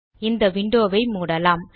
இந்த விண்டோ வை மூடலாம்